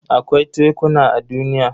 Akwai tekuna a duniya.